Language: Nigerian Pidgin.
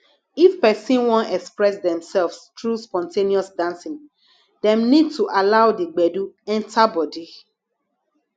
if person wan express themselves through spon ten ous dancing dem need to allow di gbedu enter bodi